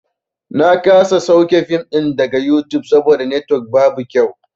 Na kasa sauke fim ɗin daga yutub saboda netwok babu kyau.